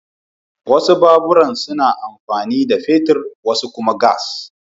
Wasu baburan suna amfani da fetur wasu kuma gas.